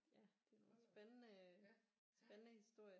Ja det er nogle spændende spændende historier